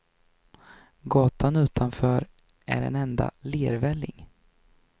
Gatan utanför är en enda lervälling.